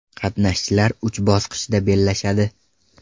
Qatnashchilar uch bosqichda bellashadi.